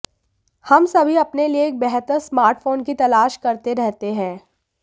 हम सभी अपने लिए एक बेहतर स्मार्टफोन की तलाश करते रहते हैं